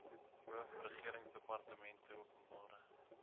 hoof regeringsdepartmente openbare